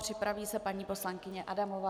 Připraví se paní poslankyně Adamová.